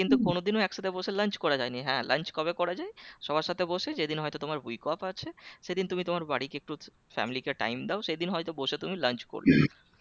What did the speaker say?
কিন্তু কোন দিনও একসাথে বসে lunch করা যায়নি হ্যাঁ lunch কবে করা যাই সবার সাথে বসে যেদিন হয়তো তোমার week off আছে সেদিন তুমি তোমার বাড়িকে একটু family কে time দাও সেদিন হয়তো বসে তুমি lunch করলে